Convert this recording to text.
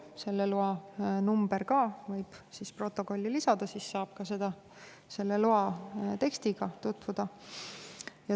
Selle loa numbri võib ka protokolli lisada, siis saab loa tekstiga tutvuda.